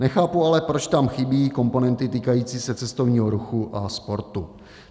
Nechápu ale, proč tam chybí komponenty týkající se cestovního ruchu a sportu.